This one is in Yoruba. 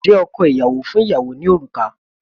Ǹjẹ́ ọkọ ìyàwó fún ìyàwó ní òrùka?